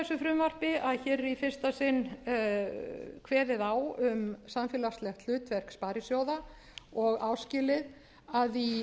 frumvarpi að hér er í fyrsta sinn kveðið á um samfélagslegt hlutverk sparisjóða og áskilið að í